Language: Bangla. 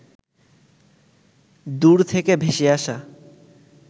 দূর থেকে ভেসে আসা